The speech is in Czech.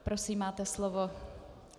Prosím máte slovo.